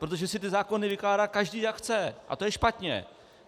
Protože si ty zákony vykládá každý, jak chce, a to je špatně.